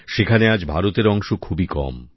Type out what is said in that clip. সেখানে আজ ভারতের অংশ খুবই কম